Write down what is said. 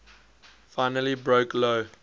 finally broke lou